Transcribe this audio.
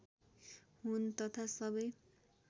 हुन् तथा सबै